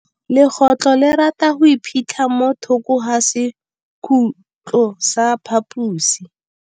Legôtlô le rata go iphitlha mo thokô ga sekhutlo sa phaposi.